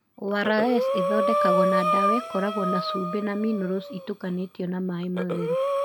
ORS ithondekagwo na ndawa ĩkoragwo na cumbĩ na minerals ĩtukanĩtio na maĩ matheru.